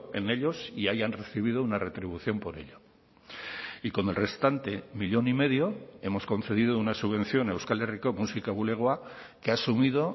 en ellos y hayan recibido una retribución por ello y con el restante millón y medio hemos concedido una subvención a euskal herriko musika bulegoa que ha asumido